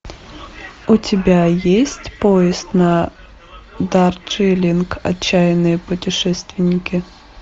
у тебя есть поезд на дарджилинг отчаянные путешественники